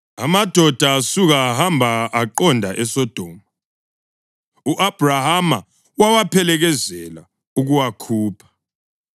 Amadoda asuka ahamba aqonda eSodoma, u-Abhrahama wawaphelekezela ukuwakhupha.